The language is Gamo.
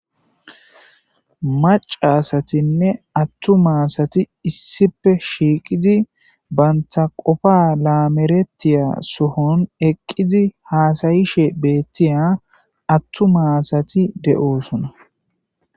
macasatinne attu maasati issipe shiiqidi banta qofa laameretiya sohon eqqidi haasayishe beettiya attu maasati de7oosona